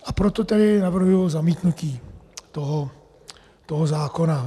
A proto tedy navrhuji zamítnutí toho zákona.